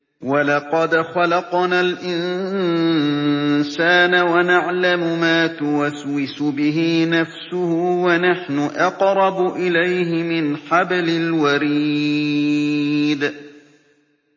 وَلَقَدْ خَلَقْنَا الْإِنسَانَ وَنَعْلَمُ مَا تُوَسْوِسُ بِهِ نَفْسُهُ ۖ وَنَحْنُ أَقْرَبُ إِلَيْهِ مِنْ حَبْلِ الْوَرِيدِ